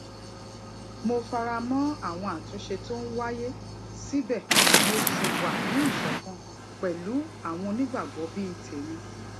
mo fara mó àwọn àtúnṣe tó ń wáyé síbè mo ṣì wà ní ìṣòkan pèlú àwọn onígbàgbó bíi tèmi